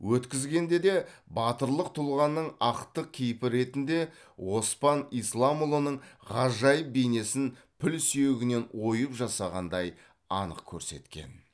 өткізгенде де батырлық тұлғаның ақтық кейпі ретінде оспан исламұлының ғажайып бейнесін піл сүйегінен ойып жасағандай анық көрсеткен